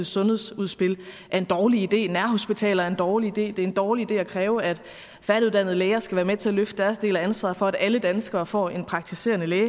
sundhedsudspil er en dårlig idé hvorfor nærhospitaler er en dårlig idé hvorfor det er en dårlig idé at kræve at færdiguddannede læger skal være med til at løfte deres del af ansvaret for at alle danskere får en praktiserende læge